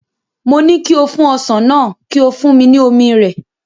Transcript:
Mo ní kí o fún ọsàn náà, kí o fún mi ní omi rẹ̀.